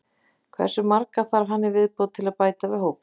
Hversu marga þarf hann í viðbót til að bæta við hópinn?